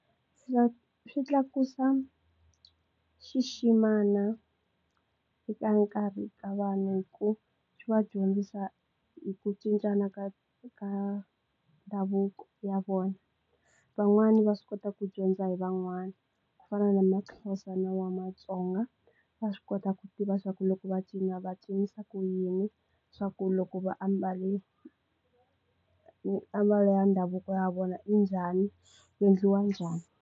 Swi tlakusa xiximana eka nkarhi ka vanhu hi ku swi va dyondzisa hi ku cincana ka ka ndhavuko ya vona van'wani va swi kota ku dyondza hi van'wana ku fana na maxhosa na wa matsonga va swi kota ku tiva swaku loko va cina va cinisa ku yini swaku loko va ambale ambala ya ndhavuko ya vona i njhani ku endliwa njhani.